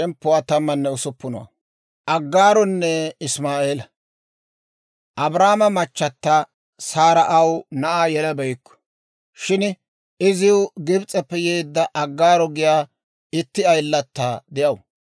Abraamo machata Saara aw na'aa yelabeykku; shin iziw Gibis'eppe yeedda Aggaaro giyaa itti ayilata de'aw.